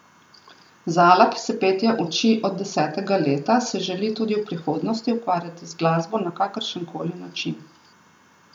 Zala, ki se petja uči od desetega leta, se želi tudi v prihodnosti ukvarjati z glasbo na kakršen koli način.